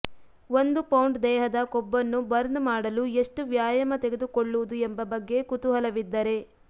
ಒಂದು ಪೌಂಡ್ ದೇಹದ ಕೊಬ್ಬನ್ನು ಬರ್ನ್ ಮಾಡಲು ಎಷ್ಟು ವ್ಯಾಯಾಮ ತೆಗೆದುಕೊಳ್ಳುವುದು ಎಂಬ ಬಗ್ಗೆ ಕುತೂಹಲವಿದ್ದರೆ